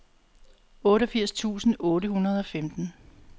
otteogfirs tusind otte hundrede og femten